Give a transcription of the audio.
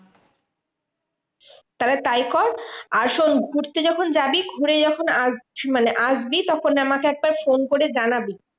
তাহলে তাই কর, আর শোন্ ঘুরতে যখন যাবি ঘুরে যখন মানে আসবি, তখন আমাকে একবার ফোন করে জানাবি।